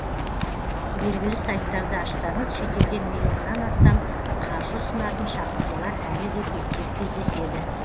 белгілі сайттарды ашсаңыз шетелден миллионнан астам қаржы ұсынатын шақыртулар әлі де көптеп кездеседі